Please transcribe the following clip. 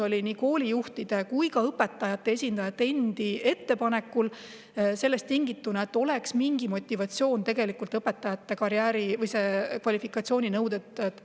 See koolijuhtide ja ka õpetajate esindajate endi ettepanek oli tingitud sellest, et oleks mingi motivatsioon õpetaja kvalifikatsiooninõudeid täita.